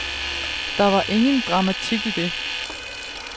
Der er ingen dramatik i det.